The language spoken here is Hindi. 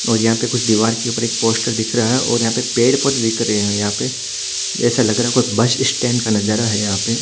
और यह पर दिवार के ऊपर एक पोस्टर दिख रहा है और यह पर पेड़ पोधे दिख रहे है यह पर एसा लग रहा है कोई बस स्टैंड का नज़रा है यहा पे--